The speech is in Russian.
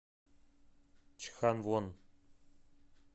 чханвон